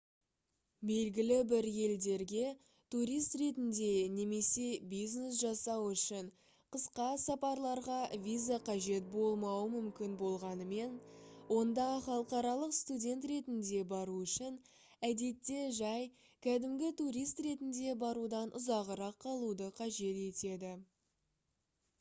белгілі бір елдерге турист ретінде немесе бизнес жасау үшін қысқа сапарларға виза қажет болмауы мүмкін болғанымен онда халықаралық студент ретінде бару үшін әдетте жай кәдімгі турист ретінде барудан ұзағырақ қалуды қажет етеді